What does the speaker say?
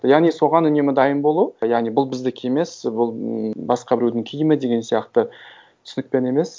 яғни соған үнемі дайын болу яғни бұл біздікі емес бұл м басқа біреудің киімі деген сияқты түсінікпен емес